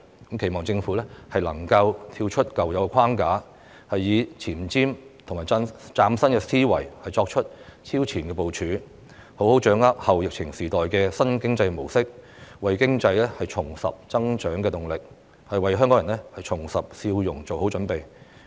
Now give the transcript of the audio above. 我期望政府能夠跳出舊有框架，以前瞻及嶄新思維作出超前部署，並好好掌握後疫情時代的新經濟模式，為經濟重拾增長動力、為香港人重拾笑容作好準備。